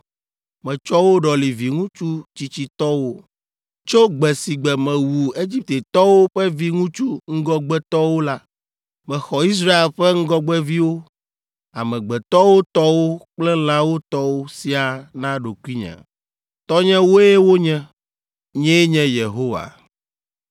Metsɔ wo ɖɔli viŋutsu tsitsitɔwo. Tso gbe si gbe mewu Egiptetɔwo ƒe viŋutsu ŋgɔgbetɔwo la, mexɔ Israel ƒe ŋgɔgbeviwo, amegbetɔwo tɔwo kple lãwo tɔwo siaa na ɖokuinye! Tɔnyewoe wonye; nyee nye Yehowa!”